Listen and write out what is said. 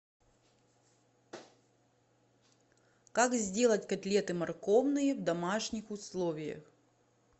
как сделать котлеты морковные в домашних условиях